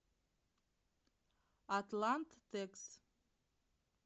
атланттекс